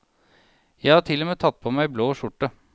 Jeg har til og med tatt på meg blå skjorte.